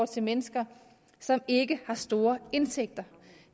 til mennesker som ikke har store indtægter